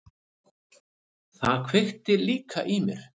Það kveikti líka í mér.